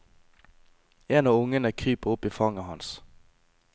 En av ungene kryper opp i fanget hans.